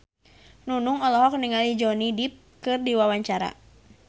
Nunung olohok ningali Johnny Depp keur diwawancara